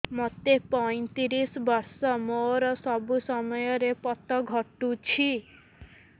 ମୋତେ ପଇଂତିରିଶ ବର୍ଷ ମୋର ସବୁ ସମୟରେ ପତ ଘଟୁଛି